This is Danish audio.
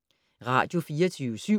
Radio24syv